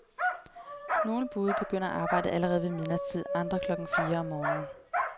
Nogle bude begynder arbejdet allerede ved midnatstid, andre klokken fire om morgenen.